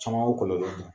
Caman ye o kɔlɔlɔ di